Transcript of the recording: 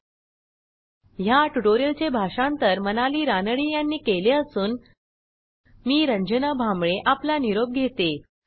spoken hyphen tutorial dot O R G slash NMEICT hyphen intro ह्या ट्युटोरियलचे भाषांतर मनाली रानडे यांनी केले असून मी आपला निरोप घेते160